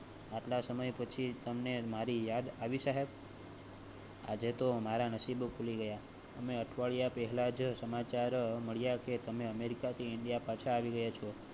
આટલા સમય પછી તમ ને મારી યાદ આવી સાહેબ. આજે તો મારા નસીબ ખુલી ગયા. અમે અઠવાડિયા પહેલા જ સમાચાર મળ્યા કે તમે અમેરિકા થી ઇન્ડિયા પાછા આવી ગયા છો